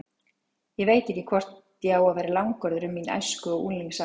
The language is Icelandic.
Ég veit ekki hvort ég á að vera langorður um mín æsku- og unglingsár.